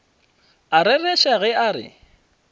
a rereša ge a re